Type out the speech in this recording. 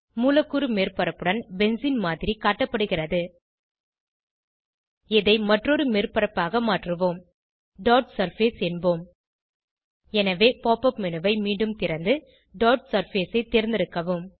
மூலக்கூறு மேற்பரப்புடன் பென்சீன் மாதிரி காட்டப்படுகிறது இதை மற்றொரு மேற்பரப்பாக மாற்றுவோம் டாட் சர்ஃபேஸ் என்போம் எனவே pop உப் மேனு ஐ மீண்டும் திறந்து டாட் சர்ஃபேஸ் ஐ தேர்ந்தெடுக்கவும்